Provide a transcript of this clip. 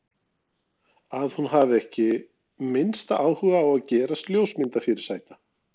Að hún hafi ekki minnsta áhuga á að gerast ljósmyndafyrirsæta.